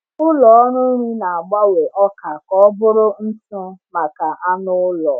Ụlọ ọrụ nri na-agbanwe ọka ka ọ bụrụ ntụ maka anụ ụlọ.